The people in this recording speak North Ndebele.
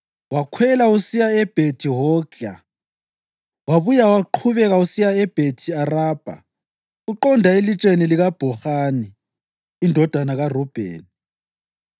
wakhwela usiya eBhethi-Hogla, wabuye waqhubeka usiya Bhethi-Arabha uqonda eLitsheni likaBhohani indodana kaRubheni.